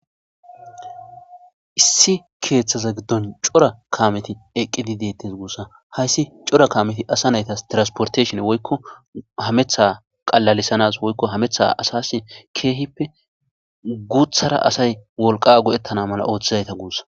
Issi kethaza gidon c'ora kameti eqidi detes gusa haysi c'ora kameti asa naytas tirasporteshinne woyko hameta qalalisanas woyko hameta asas kehipe gutara asay wolqa go'etanna mala othizaysa gusa.